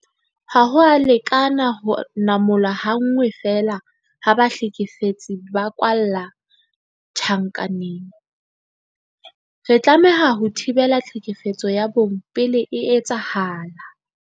Ha ho a lekana ho namola ha nngwe feela ha bahlekefetsi ba kwalla tjhankaneng. Re tlameha ho thibela tlhekefetso ya bong pele e etsahala.